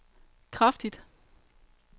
kraftigt